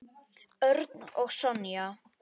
Örn og Sonja.